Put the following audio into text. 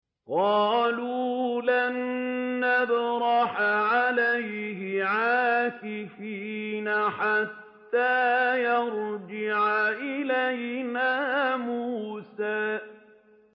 قَالُوا لَن نَّبْرَحَ عَلَيْهِ عَاكِفِينَ حَتَّىٰ يَرْجِعَ إِلَيْنَا مُوسَىٰ